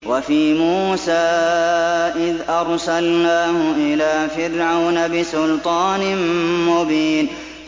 وَفِي مُوسَىٰ إِذْ أَرْسَلْنَاهُ إِلَىٰ فِرْعَوْنَ بِسُلْطَانٍ مُّبِينٍ